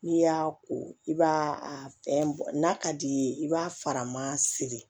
N'i y'a ko i b'a a fɛn n'a ka d'i ye i b'a faraman siri